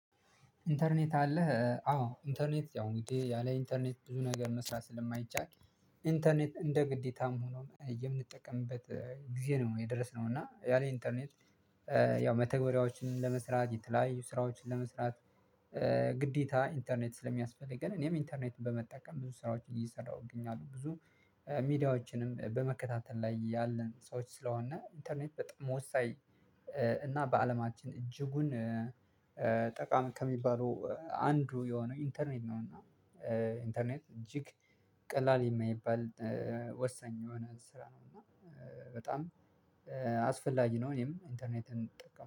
ኢንተርኔት አለህ? አዎ ኢንተርኔት ያው እንግዲህ ያለ ኢንተርኔት ብዙ ነገር መስራት ስለማይቻል ኢንተርኔት እንደ ግዴታም ሆኖ የምንጠቀምበት ጊዜ ነው የደረስነው እና ያለ ኢንተርኔት ያው መተግበሪያዎችን ለመስራት የተለያዩ ስራዎችን ለመስራት ግዴታ ኢንተርኔት ስለሚያስፈልገን እኔም ኢንተርኔትን በመጠቀም ብዙ ስራዎችን እየሰራሁ እገኛለሁ ብዙ ሚዲያዎችንም በመከታተል ላይ ያለን ሰዎች ስለሆነ ኢንተርኔት በጣም ወሳኝ እና በአለማችን እጅጉን ጠቃሚ ከሚባሉ አንዱ የሆነው ኢንተርኔት ነው እና ኢንተርኔት እጅግ ቀላል የማይባል ወሰኝ የሆነ ስራ ነው እና በጣም አስፈላጊ ነው እነም ኢንተርኔትን እጠቀማለሁ።